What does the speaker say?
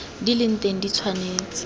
di le teng di tshwanetse